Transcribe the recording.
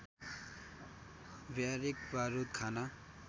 barrack बारुद खाना